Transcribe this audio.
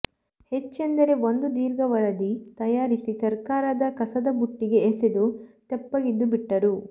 ಹೆಚ್ಚೆಂದರೆ ಒಂದು ದೀರ್ಘ ವರದಿ ತಯಾರಿಸಿ ಸರಕಾರದ ಕಸದಬುಟ್ಟಿಗೆ ಎಸೆದು ತೆಪ್ಪಗಿದ್ದುಬಿಟ್ಟರು